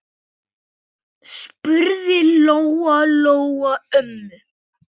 spurði Lóa-Lóa ömmu.